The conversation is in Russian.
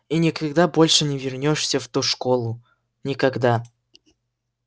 и никогда больше не вернёшься в ту школу никогда